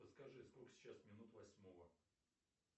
подскажи сколько сейчас минут восьмого